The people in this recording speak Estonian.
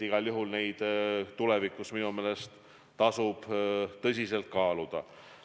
Igal juhul tasub seda tulevikus minu meelest tõsiselt kaaluda.